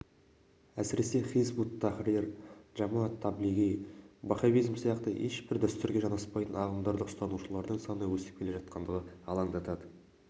әсіресе хизб-ут-тахрир джамат-таблиги ваххабизм сияқты ешбір дәстүрге жанаспайтын ағымдарды ұстанушылардың саны өсіп келе жатқандығы алаңдатады